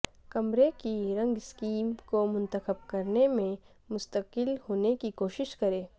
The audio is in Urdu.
کمرے کی رنگ سکیم کو منتخب کرنے میں مستقل ہونے کی کوشش کریں